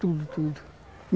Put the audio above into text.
Tudo, tudo, tudo.